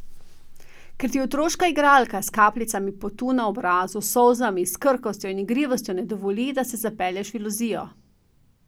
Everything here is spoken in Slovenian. Ker ti otroška igralka s kapljicami potu na obrazu, s solzami, s krhkostjo in igrivostjo ne dovoli, da se zapelješ v iluzijo.